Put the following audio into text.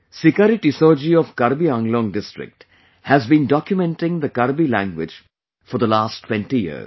Sikari Tissau ji of Karbi Anglong district has been documenting the Karbi language for the last 20 years